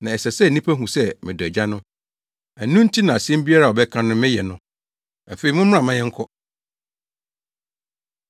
Na ɛsɛ sɛ nnipa hu sɛ medɔ Agya no, ɛno nti na asɛm biara a ɔbɛka no meyɛ no. “Afei mommra mma yɛnkɔ.”